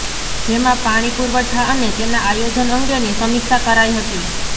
જેમાં પાણી પુરવઠા અને તેના આયોજન અંગેની સમીક્ષા કરાઇ હતી